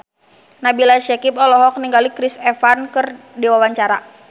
Nabila Syakieb olohok ningali Chris Evans keur diwawancara